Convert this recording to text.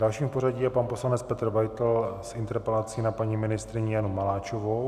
Dalším v pořadí je pan poslanec Petr Beitl s interpelací na paní ministryni Janu Maláčovou.